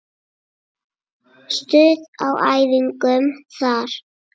Stuð á æfingum þar!